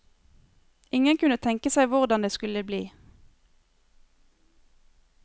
Ingen kunne tenke seg hvordan det skulle bli.